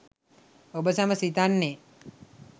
ඔබ සැම සිතන්නේ